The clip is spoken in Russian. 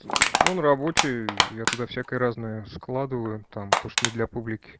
аа он рабочий я туда всякое-разное складываю там то что не для публики